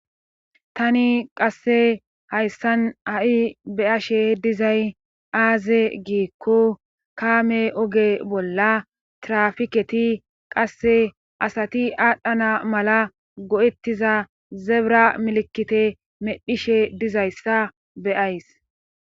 Tani qasse hayssan ha'i beyashe dizay aaze giikko kaame oge bolla trafiketi qasse asati aadhdhana mala go'ettiza zebira milkite medhishe diza issa be'ayis.